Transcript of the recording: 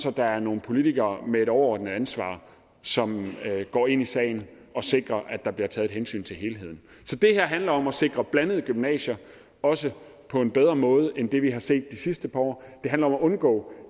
at der er nogle politikere med et overordnet ansvar som går ind i sagen og sikrer at der bliver taget et hensyn til helheden så det her handler om at sikre blandede gymnasier også på en bedre måde end det vi har set de sidste par år og det handler om at undgå